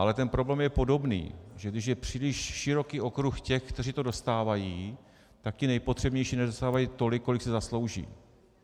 Ale ten problém je podobný, že když je příliš široký okruh těch, kteří to dostávají, tak ti nejpotřebnější nedostávají tolik, kolik si zaslouží.